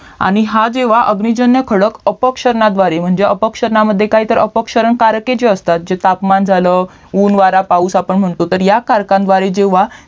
आणि हा जेव्हा अग्निजन्य खडक अपक्षर्नाद्वारे म्हणजे अपक्षरणामद्धे काहीतर अपक्षरणकारक जे असतात जे तापमान झालं ऊन वारा पाऊस आपण म्हणतो तर ह्या करकाद्वारे जेव्हा